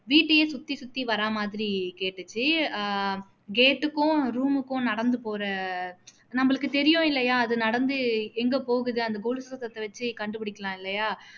வீட்டையே சுத்தி சுத்தி வர்ற மாதிரி கேட்டுச்சு அஹ் gate க்கும் room க்கும் நடந்து போற நம்மளுக்கு தெரியும் இல்லையா நடந்து எங்க போகுது அந்த கொலுசு சத்தத்தை வச்சு கண்டுபிடிக்கலாம் இல்லையா